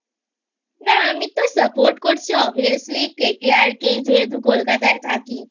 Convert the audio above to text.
না আমি তো Support করছি Obviously KKR কে যেহেতু কলকাতায় থাকি